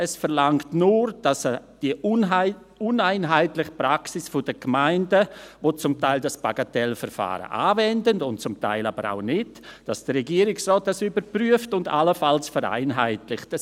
Es verlangt nur, dass die uneinheitliche Praxis der Gemeinden, die dieses Bagatellverfahren zum Teil anwendet, zum Teil aber auch nicht, durch den Regierungsrat überprüft und allenfalls vereinheitlicht wird.